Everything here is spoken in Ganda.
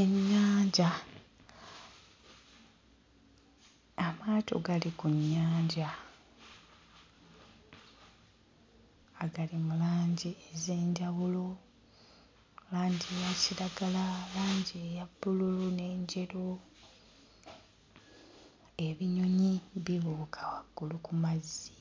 Ennyanja, amaato gali ku nnyanja agali mu langi ez'enjawulo, langi eya kiragala, langi eya bbulu n'enjeru. Ebinyonyi bibuuka waggulu ku mazzi,